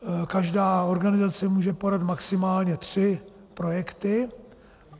Každá organizace může podat maximálně tři projekty.